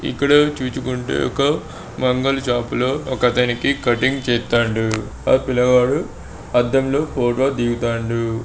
ఇక్కడ చూసుకుంటే ఒక మంగళ షాప్ లో ఒకతనికి కటింగ్ చేత్తండు. ఆ పిల్లగాడు అద్దంలో ఫోటో దిగుతాండు.